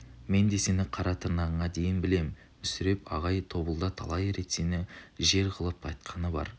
мен де сені қара тырнағыңа дейін білем мүсіреп ағай тобылда талай рет сені жыр қылып айтқаны бар